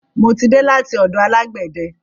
Mo ti dé láti ọ̀dọ̀ alágbẹ̀de.